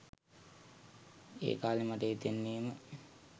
ඒ කාලේ මට හිතෙන්නෙ ම